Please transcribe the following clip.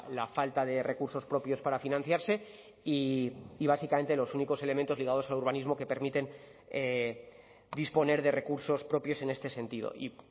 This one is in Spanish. la falta de recursos propios para financiarse y básicamente los únicos elementos ligados al urbanismo que permiten disponer de recursos propios en este sentido y